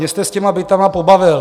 Mě jste s těmi byty pobavil.